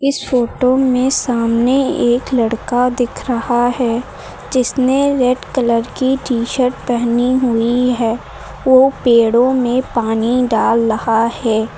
इस फोटो में सामने एक लड़का दिख रहा है जिसने रेड कलर की टी शर्ट पहनी हुई है वो पेड़ो में पानी डाल रहा है।